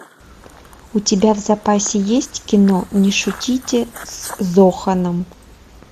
у тебя в запасе есть кино не шутите с зоханом